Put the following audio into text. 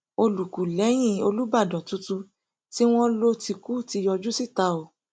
olúkúlégẹhìn olùbàdàn tuntun tí wọn lò ti kú ti yọjú síta o